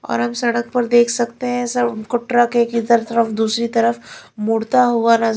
और हम सड़क पर देख सकते हैं ऐसा उनको ट्रक एक इधर तरफ दूसरी तरफ मुड़ता हुआ नज़--